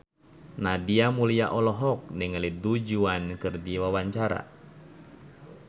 Nadia Mulya olohok ningali Du Juan keur diwawancara